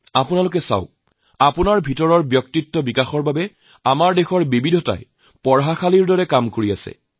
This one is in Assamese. আপোনালোকৰ অন্তৰৰ ব্যক্তিত্বৰ বিকাশৰ বাবে আমাৰ দেশৰ এই বৈচিত্ৰ যেন বিৰাট এক পাঠশালাৰ ভূমিকা পালন কৰে